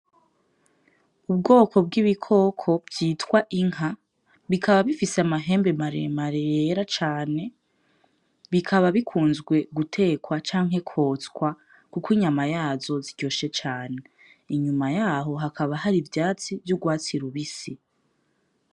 Ubwoko bwibikoko vyitwa Inka bikaba bifise amahembe maremare yera cane bikaba bikunzwe gutekwa canke kotswa kuko inyama yazo iryoshe cane, inyuma yaho hakaba hari ivyatsi yurwatsi rubisi.